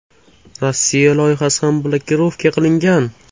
Rossiya loyihasi ham blokirovka qilingan.